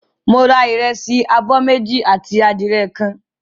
Mo ra ìrẹsì abọ́ méjì àti adìẹ kan.